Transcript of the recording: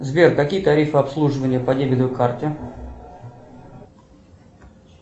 сбер какие тарифы обслуживания по дебетовой карте